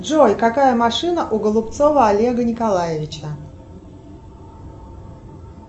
джой какая машина у голубцова олега николаевича